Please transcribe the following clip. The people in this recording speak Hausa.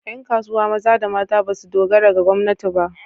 Ƴan kasuwa maza da mata ba su dogara ga gwamnati ba.